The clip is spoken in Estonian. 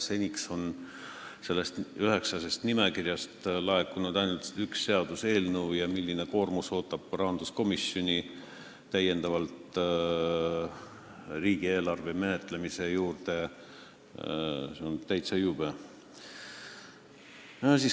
Seni on sellest nimekirjast laekunud ainult üks seaduseelnõu ja see, milline koormus ootab rahanduskomisjoni lisaks riigieelarve menetlemisele, on täitsa jube.